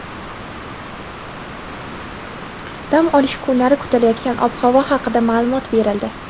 Dam olish kunlari kutilayotgan ob-havo haqida ma’lumot berildi.